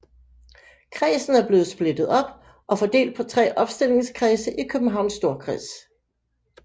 Kredsen er blevet splittet op og fordelt på tre opstillingskredse i Københavns Storkreds